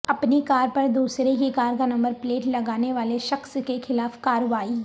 اپنی کار پر دوسرے کی کار کا نمبر پلیٹ لگانے والے شخص کے خلاف کارروائی